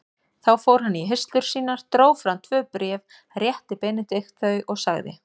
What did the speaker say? Þá fór hann í hirslur sínar, dró fram tvö bréf, rétti Benedikt þau og sagði